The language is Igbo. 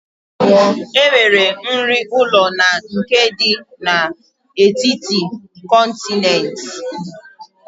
Enwere nri ụlọ na nke dị n'etiti kọntinent